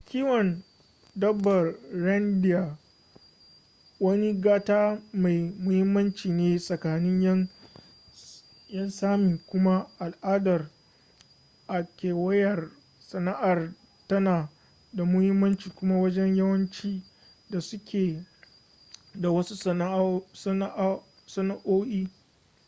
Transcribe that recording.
kiwon dabbar reindeer wani gata mai muhimmanci ne tsakanin 'yan sámi kuma al'adar a kewayar sana'ar tana da muhimmanci kuma wajen yawanci da suke da wasu sana'o'i